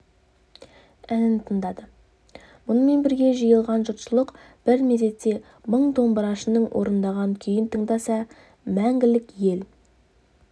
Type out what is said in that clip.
әнін тыңдады мұнымен бірге жиылған жұртшылық бір мезетте мың домбырашының орындаған күйін тыңдаса мәңгілік ел